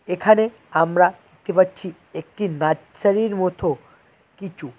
এখানে আমরা দেখতে পাচ্ছি একটি নাছসারির মথো কিচু।